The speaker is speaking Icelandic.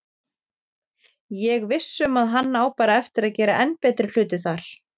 Ég viss um að hann á bara eftir að gera enn betri hluti þar.